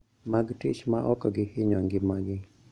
Mag tich ma ok gihinyo ngimagi